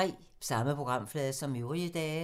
Samme programflade som øvrige dage